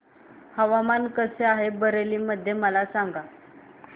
हवामान कसे आहे बरेली मध्ये मला सांगा